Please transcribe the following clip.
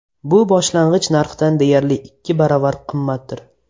Bu boshlang‘ich narxdan deyarli ikki baravar qimmatdir.